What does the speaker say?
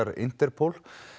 Interpol